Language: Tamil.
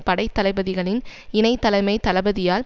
படை தளபதிகளின் இணை தலைமை தளபதியால்